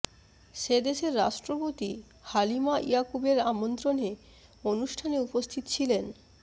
সে দেশের রাষ্ট্রপতি হালিমা ইয়াকুবের আমন্ত্রণে অনুষ্ঠানে উপস্থিত ছিলেন